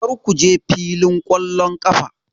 Kar ku je filin ƙwallon ƙafa!